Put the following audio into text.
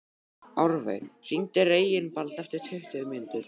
Árveig, hringdu í Reginbald eftir tuttugu mínútur.